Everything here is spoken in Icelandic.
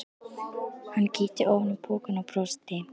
Hann kíkti ofan í pokann og brosti.